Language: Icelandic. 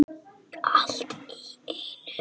Allt í einu.